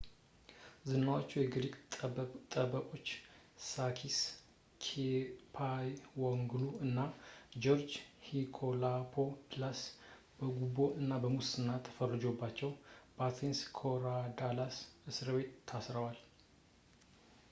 ዝነኛዎቹ የግሪክ ጠበቆች ሳኪስ ኬቻጂዎግሉ እና ጆርጅ ኒኮላኮፕለስ በጉቦ እና ሙስና ተፈርዶባቸው በአቴንስ ኮሪዳለስ እስርቤት ታስረዋል